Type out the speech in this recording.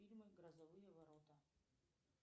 фильм грозовые ворота